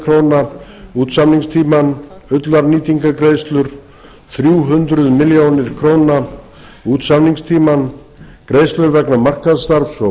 króna út samningstímann ullarnýtingargreiðslur þrjú hundruð milljóna króna út samningstímann greiðslur vegna markaðsstarfs og